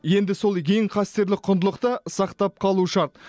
енді сол ең қастерлі құндылықты сақтап қалу шарт